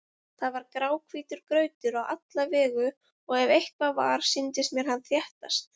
Það var gráhvítur grautur á alla vegu og ef eitthvað var, sýndist mér hann þéttast.